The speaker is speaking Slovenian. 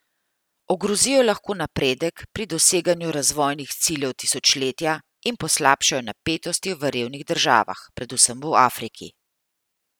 Ogrozijo lahko napredek pri doseganju razvojnih ciljev tisočletja in poslabšajo napetosti v revnih državah, predvsem v Afriki.